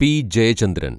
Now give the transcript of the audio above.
P. Jayachandran‍